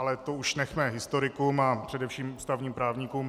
Ale to už nechme historikům a především ústavním právníkům.